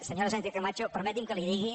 senyora sánchez camacho permeti’m que li digui